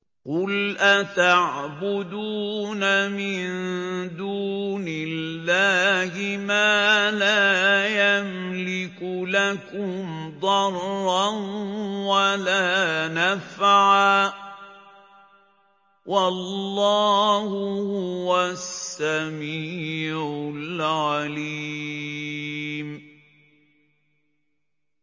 قُلْ أَتَعْبُدُونَ مِن دُونِ اللَّهِ مَا لَا يَمْلِكُ لَكُمْ ضَرًّا وَلَا نَفْعًا ۚ وَاللَّهُ هُوَ السَّمِيعُ الْعَلِيمُ